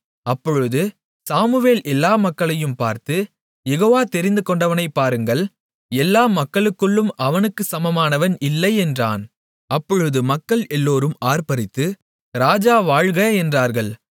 அப்பொழுது சாமுவேல் எல்லா மக்களையும் பார்த்து யெகோவா தெரிந்து கொண்டவனைப் பாருங்கள் எல்லா மக்களுக்குள்ளும் அவனுக்குச் சமமானவன் இல்லை என்றான் அப்பொழுது மக்கள் எல்லோரும் ஆர்ப்பரித்து ராஜா வாழ்க என்றார்கள்